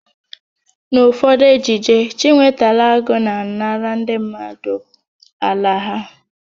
N'ụfọdụ ejije, Chinwetalụ Agụ na-anara ndị mmadụ ala ha.